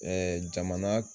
Ɛɛ jamana